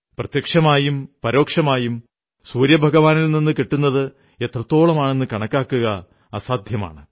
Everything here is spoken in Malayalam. പ്രത്യക്ഷമായും പരോക്ഷവുമായും സൂര്യഭഗവാനിൽ നിന്നു കിട്ടുന്നത് എത്രത്തോളമെന്നു കണക്കാക്കുകയെന്നത് നമുക്ക് അസാധ്യമാണ്